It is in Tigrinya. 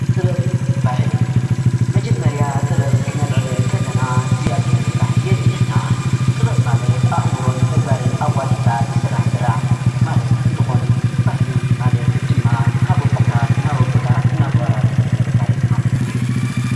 ጥበብን ባህልን መጀመርያ ጥበብ ክነልዕል እንከለና እግዚኣብሄር ምፍራሕ የርእየና ጥበብ ማለት ኣእምሮን ተግባርን ኣዋዲድካ ዝስራሕ ስራሕ ማለት እንትኮን ባህሊ ማለት ድማ ካብ ኣቦታት ናበ ኣቦታት እናተወራረሰ ዝመፀ ታሪክ ማለት እዩ፡፡